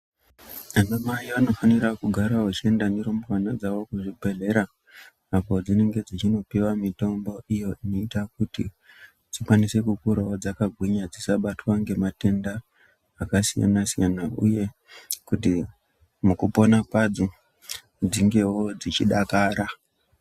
Ana mai vanofanira kugara vachienda nerumbwana dzawo kuzvibhedhlera apo dzinenge dzichinopiwa mitombo iyo inoita kuti dzikwanise kukurawo dzakagwinya dzisabatwa ngematenda akasiyana siyana uye kuti mukupona kwadzo dzingewo dzichidakara.